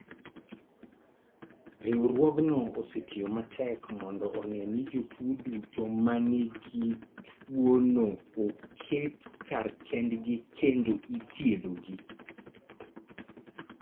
Riwruogno osetiyo matek mondo one ni jotuo duto ma nigi tuonooket kar kendgi kendo ithiedhogi.